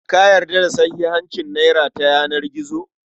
Ka yarda da sahihancin nera ta yanar gizo?